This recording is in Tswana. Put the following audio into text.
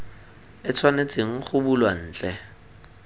e tshwanetseng go bulwa ntle